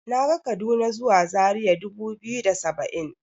Naga kaduna zuwa zaria dubu biyu da saba'in.